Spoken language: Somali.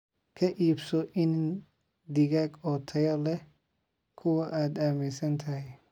Ka iibso iniin digaag oo tayo leh kuwa aad aaminsan tahay.